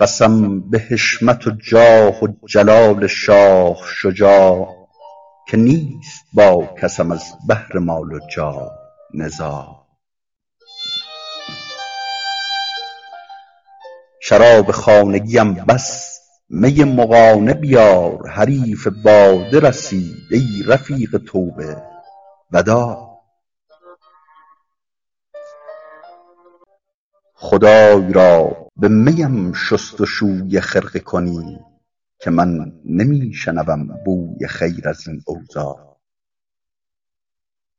قسم به حشمت و جاه و جلال شاه شجاع که نیست با کسم از بهر مال و جاه نزاع شراب خانگیم بس می مغانه بیار حریف باده رسید ای رفیق توبه وداع خدای را به می ام شست و شوی خرقه کنید که من نمی شنوم بوی خیر از این اوضاع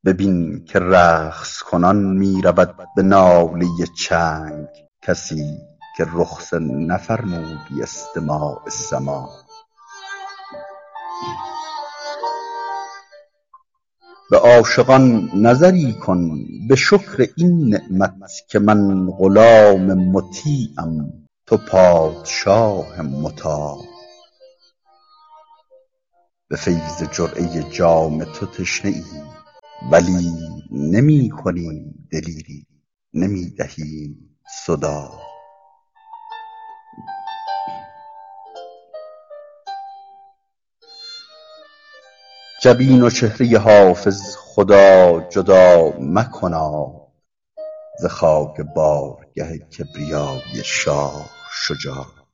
ببین که رقص کنان می رود به ناله چنگ کسی که رخصه نفرمودی استماع سماع به عاشقان نظری کن به شکر این نعمت که من غلام مطیعم تو پادشاه مطاع به فیض جرعه جام تو تشنه ایم ولی نمی کنیم دلیری نمی دهیم صداع جبین و چهره حافظ خدا جدا مکناد ز خاک بارگه کبریای شاه شجاع